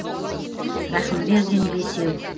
рахымбердин бесеу